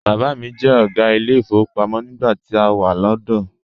Bàbá mi jẹ́ ọ̀gá ilé ìfowópamọ́ nígbà tá a wà lọ́dọ̀ọ́.